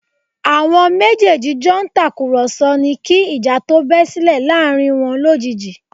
Àwọn méjèèjì jọ ń tàkùrọ̀sọ ni kí ìjà tó bẹ́ sílẹ̀ láàrin wọn lójijì